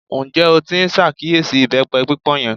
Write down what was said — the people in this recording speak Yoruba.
Ǹjẹ́ o tí n ṣàkíyèsí ìbẹ́pẹ pípọ́n yẹn?